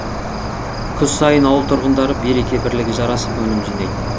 күз сайын ауыл тұрғындары береке бірлігі жарасып өнім жинайтын